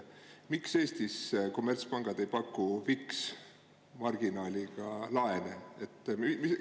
Miks Eestis kommertspangad ei paku fiksmarginaaliga laene?